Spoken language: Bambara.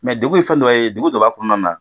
Mɛ degun ye fɛn dɔ ye degun jumɛn b'a kɔnɔna na?